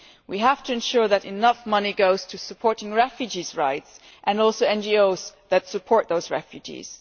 We have to ensure that enough money goes to supporting refugees' rights and also NGOs that support those refugees.